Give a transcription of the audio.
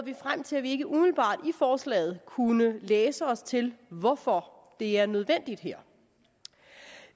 vi frem til at vi ikke umiddelbart i forslaget kunne læse os til hvorfor det er nødvendigt her